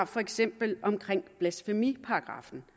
for eksempel blasfemiparagraffen